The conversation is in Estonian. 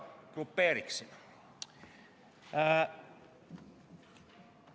Ma grupeeriksin neid mõnevõrra.